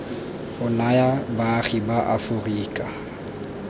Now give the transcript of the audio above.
o naya baagi ba aforika